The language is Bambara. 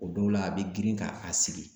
O dɔw la, a bɛ girin k'a a sigi.